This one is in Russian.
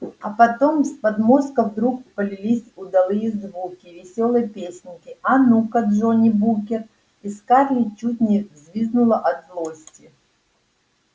а потом с подмостков вдруг полились удалые звуки весёлой песенки а ну-ка джонни букер и скарлетт чуть не взвизгнула от злости